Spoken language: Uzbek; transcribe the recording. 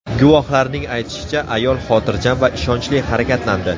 Guvohlarning aytishicha, ayol xotirjam va ishonchli harakatlandi.